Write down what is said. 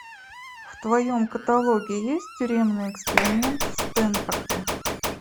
в твоем каталоге есть тюремный эксперимент в стэнфорде